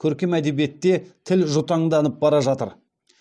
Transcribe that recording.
көркем әдебиетте тіл жұтаңданып бара жатыр